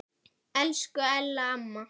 Elsku Ella amma.